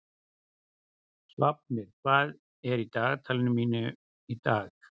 Sváfnir, hvað er í dagatalinu mínu í dag?